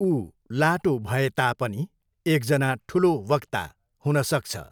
ऊ लाटो भए तापनि एकजना ठुलो वक्ता हुन सक्छ।